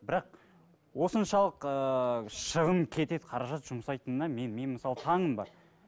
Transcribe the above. бірақ осыншалық ыыы шығын кетеді қаражат жұмсайтынына мен мен мысалы таңым бар